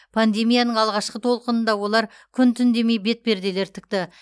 пандемияның алғашқы толқынында олар күн түн демей бетперделер тікті